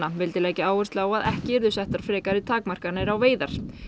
vildi leggja áherslu á að ekki yrðu settar frekari takmarkanir á veiðar